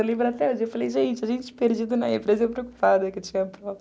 Eu lembro até hoje, eu falei, gente, a gente perdido na empresa, eu preocupada que eu tinha a prova.